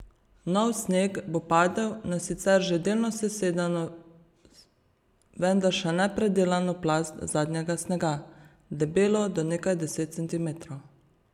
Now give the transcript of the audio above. Nov sneg bo padel na sicer že delno sesedeno vendar še ne predelano plast zadnjega snega, debelo do nekaj deset centimetrov.